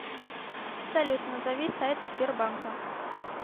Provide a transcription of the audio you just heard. салют назови сайт сбербанка